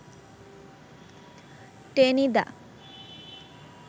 Tenida